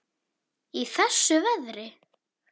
Í þessu veðri?